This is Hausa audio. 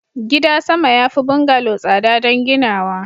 gida sama ya fi bungalow tsada don ginawa